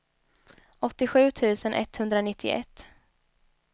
åttiosju tusen etthundranittioett